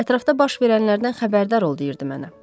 Ətrafda baş verənlərdən xəbərdar ol deyirdi mənə.